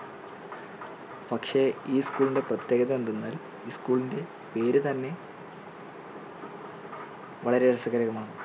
പക്ഷേ ഈ school ൻറെ പ്രത്യേകത എന്തെന്നാൽ ഈ school ൻറെ പേര് തന്നെ വളരെ രസകരമാണ്.